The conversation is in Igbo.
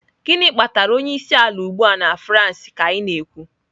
Gịnị kpatara onye isi ala ugbu a na France ka anyị na-ekwu?